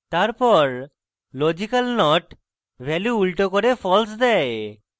তারপর logical not value উল্টো করে false দেয়